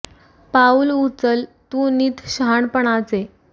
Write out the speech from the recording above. पाऊल उचल तू नित शहाणपणाचे